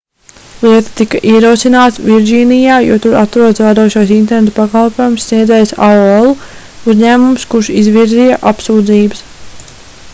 lieta tika ierosināta virdžīnijā jo tur atrodas vadošais interneta pakalpojumu sniedzējs aol - uzņēmums kurš izvirzīja apsūdzības